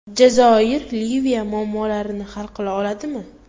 Jazoir Liviya muammolarini hal qila oladimi?